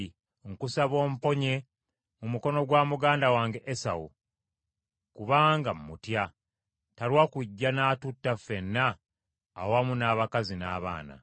Nkusaba omponye mu mukono gwa muganda wange, Esawu, kubanga mmutya, talwa kujja n’atutta ffenna awamu n’abakazi n’abaana.